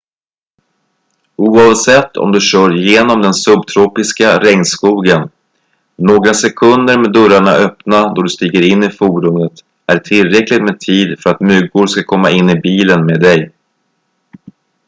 oavsett om du kör genom den subtropiska regnskogen några sekunder med dörrarna öppna då du stiger in i fordonet är tillräckligt med tid för att myggor ska komma in i bilen med dig